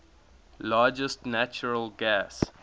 largest natural gas